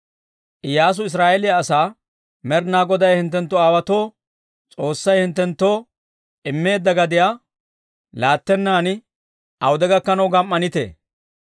Iyyaasu Israa'eeliyaa asaa, «Med'ina Goday hinttenttu aawotuwaa S'oossay hinttenttoo immeedda gadiyaa laattennan awude gakkanaw gam"anittee?